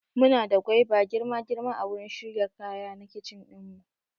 Muna da gwaiba girma girma a wurin shirya kaya na kitchen ɗin mu